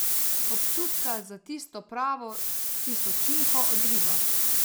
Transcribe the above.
Občutka za tisto pravo tisočinko odriva.